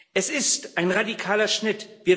Es ist ein radikaler Schritt